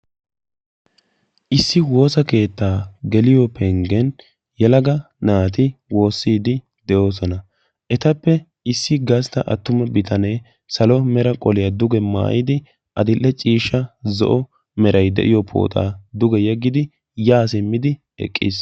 Issi woosa keettaa geliyo penggiyan yelaga naati woossiiddi de'oosona. Etappe issi gastta attuma bitanee salo mera qoliya duge maayidi adill'e ciishsha zo'o merayi de'iyo pooxaa duge yeggidi yaa simmidi eqqis.